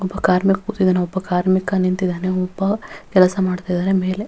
ಒಬ್ಬ ಕಾರ್ಮಿಕ ಕೂತಿದ್ದಾನೆ ಒಬ್ಬ ಕಾರ್ಮಿಕ ನಿಂತಿದ್ದಾನೆ ಒಬ್ಬ ಕೆಲಸ ಮಾಡುತ್ತಿದ್ದಾನೆ ಮೇಲೆ --